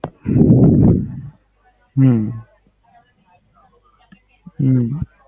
હમ